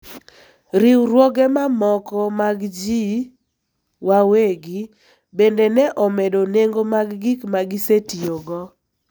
riwruoge mamoko mag ji wawegi bende ne omedo nengo mag gik ma gisetiyogo.